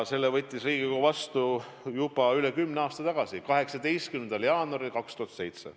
Selle võttis Riigikogu vastu juba üle kümne aasta tagasi, 18. jaanuaril 2007.